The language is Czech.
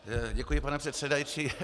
Děkuji, pane předsedající.